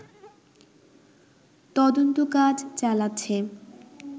তদন্তকাজ চালাচ্ছে